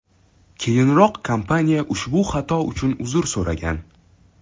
Keyinroq kompaniya ushbu xato uchun uzr so‘ragan .